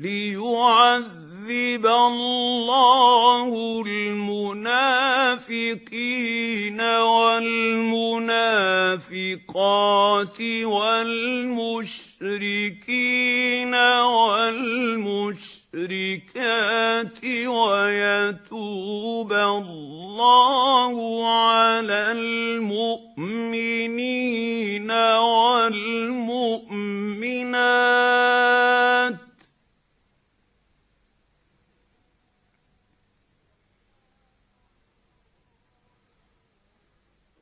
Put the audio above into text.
لِّيُعَذِّبَ اللَّهُ الْمُنَافِقِينَ وَالْمُنَافِقَاتِ وَالْمُشْرِكِينَ وَالْمُشْرِكَاتِ وَيَتُوبَ اللَّهُ عَلَى الْمُؤْمِنِينَ وَالْمُؤْمِنَاتِ ۗ